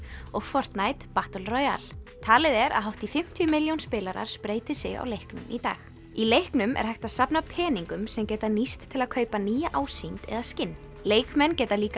og Fortnite Battle Royale talið er að hátt í fimmtíu milljón spilarar spreyti sig á leiknum í dag í leiknum er hægt að safna peningum sem geta nýst til að kaupa nýja ásýnd eða skinn leikmenn geta líka